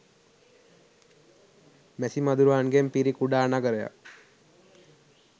මැසි මදුරුවන්ගෙන් පිරි කුඩා නගරයක්